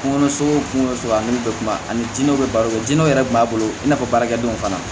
Kungolo sugu o kungosugu ani bɛɛ kunba ani jinɛw be balo jinɛw yɛrɛ kun b'a bolo i n'a fɔ baarakɛdenw fana